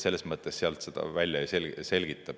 Selles mõttes seda niimoodi ei saa välja selgitada.